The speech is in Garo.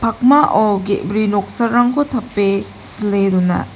pakmao ge·bri noksarangko tape sile dona.